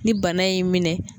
Ni bana y'i minɛ